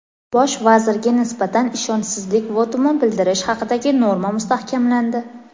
Bosh vazirga nisbatan ishonchsizlik votumi bildirish haqidagi norma mustahkamlandi.